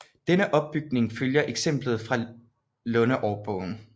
Denne opbygning følger eksemplet fra Lundeårbogen